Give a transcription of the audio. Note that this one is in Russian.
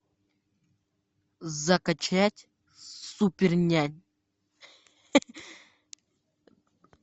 закачать супернянь